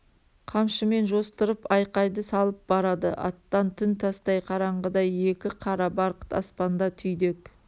қамшымен жостырып айқайды салып барады аттан түн тастай қараңғы еді қара барқыт аспанда түйдек